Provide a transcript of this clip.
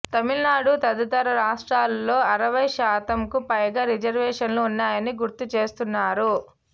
తమిళనాడు తదితర రాష్ట్రాలలో అరవై శాతంకు పైగా రిజర్వేషన్లు ఉన్నాయని గుర్తు చేస్తున్నారు